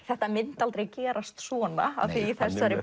þetta myndi aldrei gerast svona af því í þessari